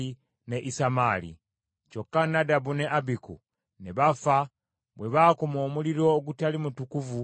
Kyokka Nadabu ne Abiku ne bafa bwe baakuma omuliro ogutali mutukuvu mu maaso ga Mukama .